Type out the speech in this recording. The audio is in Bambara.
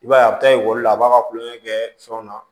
I b'a ye a bɛ taa ekɔli la a b'a ka kulon kɛ fɛnw na